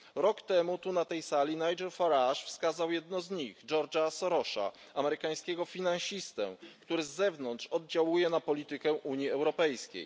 Rok temu tu, na tej sali, Nigel Farage wskazał jedno z nich George'a Sorosa, amerykańskiego finansistę, który z zewnątrz oddziałuje na politykę Unii Europejskiej.